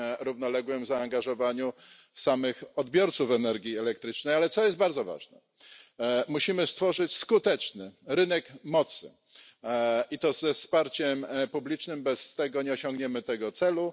równoległym zaangażowaniu samych odbiorców energii elektrycznej, ale co jest bardzo ważne musimy stworzyć skuteczny rynek mocy, i to ze wsparciem publicznym, bez tego nie osiągniemy tego celu.